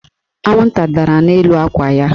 Anwụnta dara n'elu akwa ya.